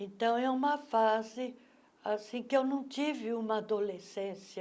Então, é uma fase assim que eu não tive uma adolescência